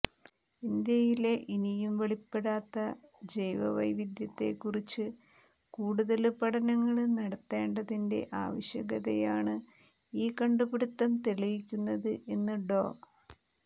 ഇന്ത്യയിലെ ഇനിയും വെളിപ്പെടാത്ത ജൈവവൈവിധ്യത്തെക്കുറിച്ച് കൂടുതല് പഠനങ്ങള് നടത്തേണ്ടതിന്റെ ആവശ്യകതയാണ് ഈ കണ്ടുപിടുത്തം തെളിയിക്കുന്നത് എന്ന് ഡോ